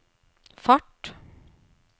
fart